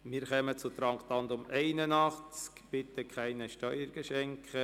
Wir kommen zu Traktandum 81, «Bitte keine Steuergeschenke!».